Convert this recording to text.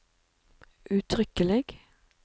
uttrykkelig